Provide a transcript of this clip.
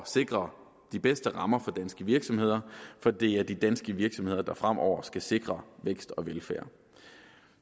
sikre de bedste rammer for danske virksomheder for det er de danske virksomheder der fremover skal sikre vækst og velfærd